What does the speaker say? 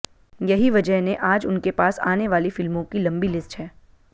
यही वजह ने आज उनके पास आने वाली फिल्मों की लंबी लिस्ट है